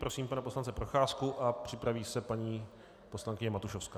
Prosím pana poslance Procházku a připraví se paní poslankyně Matušovská.